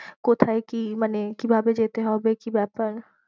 কোথায় কি মানে কি ভাবে যেতে হবে কি ব্যাপার।